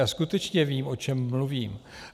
Já skutečně vím, o čem mluvím.